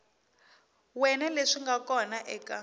wana leswi nga kona eka